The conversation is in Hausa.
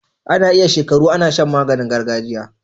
Ana iya shekaru Ana Shan maganin gargajiya